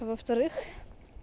во-вторых